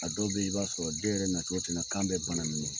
A dɔw yɛrɛ be ye i b'a sɔrɔ den yɛrɛ na cogo ten na kan be bana mini